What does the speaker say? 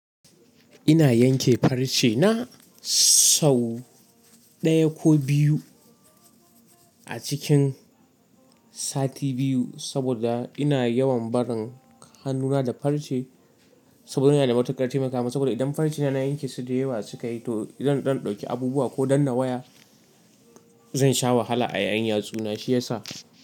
Ina yanke farce na sau ɗaya ko biyu a cikin sati biyu saboda ina yawan barin hannuna da farce saboda yana da matuƙar taimakamin Saboda idan farce na na yanke su da yawa sukayi to idan ɗan ɗauki abubuwa ko danna waya zan sha wahala a yayin yatsuna shiyasa.